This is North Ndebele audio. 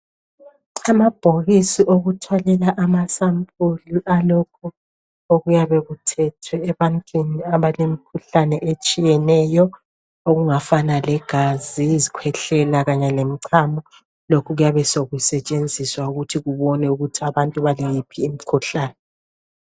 Amabhokisi okuthwalela amasampuli alokhu okuyabe kuthethwe ebantwini abalemkhuhlane etshiyeneyo, okungafana legazi, izikhwehlela kanye lemichamo lokhu kuyabe sekusetshenziswa ukuthi kubonwe ukuthi abantu balayiphi imikhuhlane.